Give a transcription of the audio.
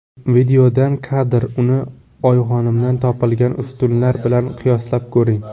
Videodan kadr Uni Oyxonimdan topilgan ustunlar bilan qiyoslab ko‘ring.